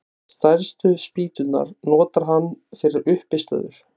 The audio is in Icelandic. Stærstu spýturnar notar hann fyrir uppistöður.